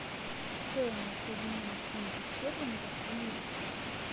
стоимость обмена фунта стерлингов в ливр